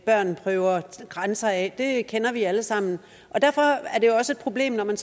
børn prøver grænser af det kender vi alle sammen derfor er det også et problem når man